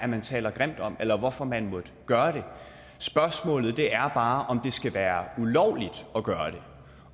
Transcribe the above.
man taler grimt om eller hvorfor man måtte gøre det spørgsmålet er bare om det skal være ulovligt at gøre det